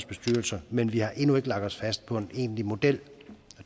bestyrelser men vi har endnu ikke lagt os fast på en egentlig model